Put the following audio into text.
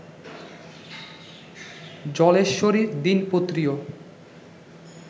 জলেশ্বরীর দিনপত্রীও